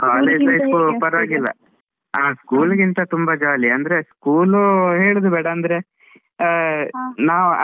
ಆ school ಗಿಂತ ತುಂಬಾ jolly ಅಂದ್ರೆ, school ಹೇಳುದ್ ಬೇಡ ಅಂದ್ರೆ .